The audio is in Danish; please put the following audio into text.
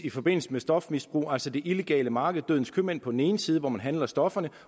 i forbindelse med stofmisbrug altså det illegale marked dødens købmænd på den ene side hvor man handler stofferne